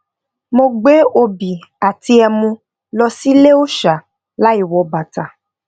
mo gbé obì àti emu lo sí ile òòṣà láìwọ bàtà